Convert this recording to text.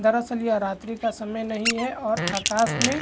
दरअसल यह रात्रि का समय नहीं है और आकाश में --